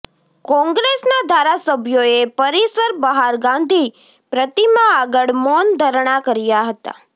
કોંગ્રેસના ધારાસભ્યોએ પરિસર બહાર ગાંધી પ્રતિમા આગળ મૌન ધરણા કર્યા હતા